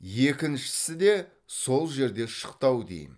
екіншісі де сол жерде шықты ау деймін